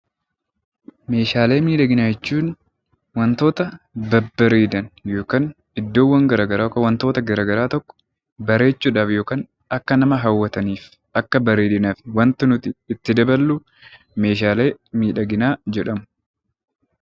Meeshaalee miidhaginaa jechuun wantoota babbareedan yookaan iddoowwan, wantoota gara garaa tokko bareechuu dhaaf yookaan akka nama hawwataniif, akka bareedinaaf wanti nuti itti daballu 'Meeshaalee miidhaginaa' jedhamu.